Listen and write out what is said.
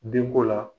Denko la